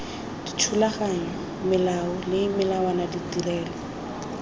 dithulaganyo melao le melawana tirelo